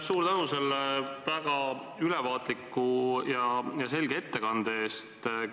Suur tänu väga ülevaatliku ja selge ettekande eest!